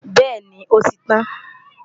bẹ́ẹ̀ni, ó ti tán